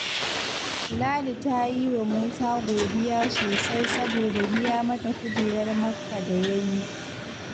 Ladi ta yi wa Musa godiya sosai saboda biya mata kujerar Makka da ya yi